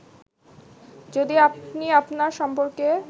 যদি আপনি আপনার সম্পর্কে